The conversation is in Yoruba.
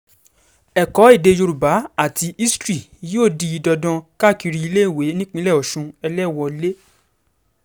ẹ̀kọ́ èdè yorùbá àti ìtàn history yóò di dandan káàkiri iléèwé nípínlẹ̀ ọ̀sùn eléwọlẹ̀